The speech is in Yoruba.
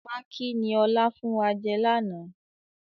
Pákí ni ọ̀la fún wa jẹ láánaà